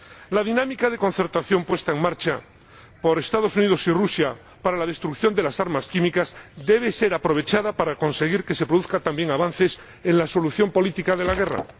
La dinámica de concertación puesta en marcha por los Estados Unidos y Rusia para la destrucción de las armas químicas debe ser aprovechada para conseguir que se produzcan también avances en la solución política de la guerra.